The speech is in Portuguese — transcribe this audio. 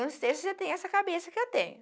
Eu não sei se você tem essa cabeça que eu tenho.